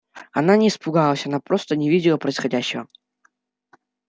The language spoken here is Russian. она не испугалась она просто не видела происходящего